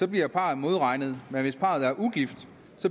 bliver parret modregnet men hvis parret er ugift